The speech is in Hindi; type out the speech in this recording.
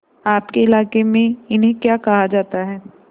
आपके इलाके में इन्हें क्या कहा जाता है